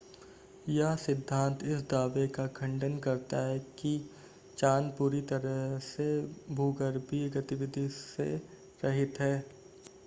यह सिद्धांत इस दावे का खंडन करता है कि चांद पूरी तरह से भूगर्भीय गतिविधि से रहित है